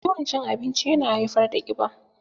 Yawan cin abinci yana haifar da ƙiba.